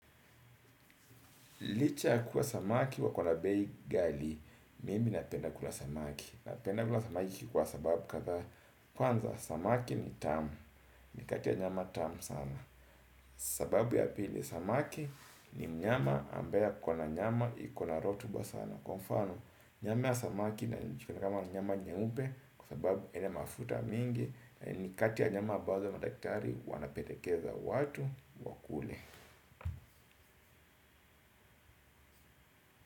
Licha ya kuwa samaki wakona bei ghali, mimi napenda kula samaki, napenda kula samaki kwa sababu kadhaa kwanza samaki ni tamu ni kati ya nyama tamu sana, sababu ya pili samaki ni mnyama ambaye akona nyama ikona rotuba sana, kwa mfano nyama ya samaki inajulikana kama nyama nyeupe kwa sababu haina mafuta mingi, ni kati ya nyama ambazo madaktari wanapendekeza watu wakule.